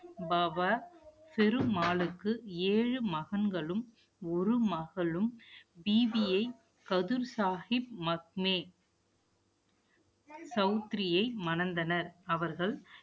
பாபா ஃபெரு மாலுக்கு ஏழு மகன்களும், ஒரு மகளும் பீபீயை கதிர் சாகிப் மக்மே சௌத்திரியை மணந்தனர். அவர்கள்